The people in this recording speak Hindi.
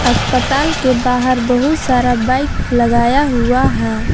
अस्पताल के बाहर बहुत सारा बाइक लगाया हुआ है।